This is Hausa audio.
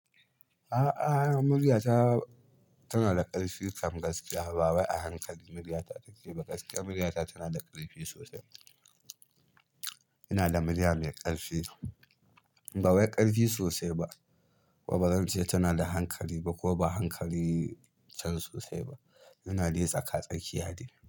A'a, murya ta tana da ƙarfi kam gaskiya. Ba wai a hankali murya ta take ba, gaskiya murya ta tana da ƙarfi sosai. Ina da murya mai ƙarfi, ba wai ƙarfi sosai ba, kuma ba zan ce tana da hankali ba ko ba hankali can sosai ba. Ina dai tsaka tsakiya de.